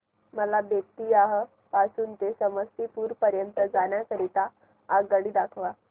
मला बेत्तीयाह पासून ते समस्तीपुर पर्यंत जाण्या करीता आगगाडी दाखवा